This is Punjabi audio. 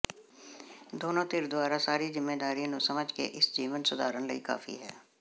ਦੋਨੋ ਧਿਰ ਦੁਆਰਾ ਸਾਰੀ ਜ਼ਿੰਮੇਵਾਰੀ ਨੂੰ ਸਮਝ ਕੇ ਇਸ ਜੀਵਨ ਸੁਧਾਰਨ ਲਈ ਕਾਫ਼ੀ ਹੈ